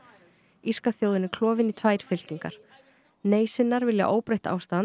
írska þjóðin er klofin í tvær fylkingar nei sinnar vilja óbreytt ástand